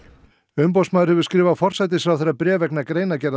umboðsmaður hefur skrifað forsætisráðherra bréf vegna greinargerðar